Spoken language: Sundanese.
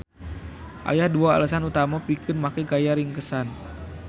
Aya dua alesan utama pikeun make gaya ringkesan.